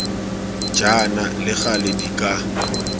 jaana le gale di ka